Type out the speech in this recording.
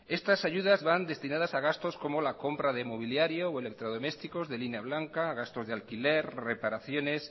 estas ayudas van destinadas a gastos como la compra de mobiliarios o electrodomésticos de línea blanca gastos de alquiler reparaciones